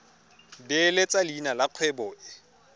beeletsa leina la kgwebo e